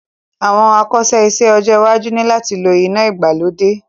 Àwon àkànse isẹ́ ọjọ́ iwájú ni láti lo inà ìgbàlódé